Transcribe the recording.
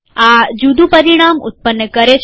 આ જુદું પરિણામ ઉત્પન્ન કરે છે